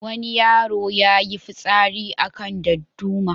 Wani yaro ya yi fitsari a kan darduma.